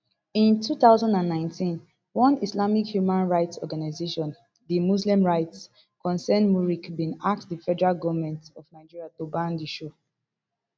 in two thousand and nineteen one islamic human rights organisation di muslim rights concern muric bin ask di federal goment of nigeria to ban di show